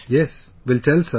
Yes, will tell sir